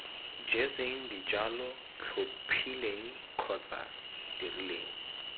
jetseng dijalo tlhophileng kgotsa dirileng